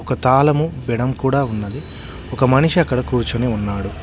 ఒక తాళము విడం కూడా ఉన్నది ఒక మనిషి అక్కడ కూర్చుని ఉన్నాడు.